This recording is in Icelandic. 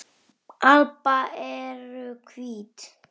alba eru hvít.